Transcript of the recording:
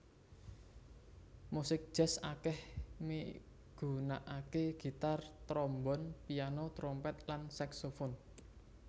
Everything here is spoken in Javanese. Musik jazz akèh migunakaké gitar trombon piano trompet lan saksofon